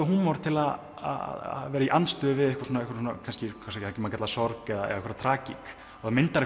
húmor til að vera í andstöðu við sorg eða einhverja tragík og það myndar